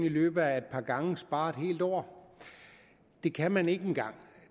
i løbet af et par gange spare et helt år det kan man ikke engang